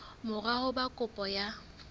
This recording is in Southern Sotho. mora ho ba kopo ya